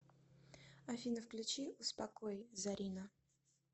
афина включи успокой зарина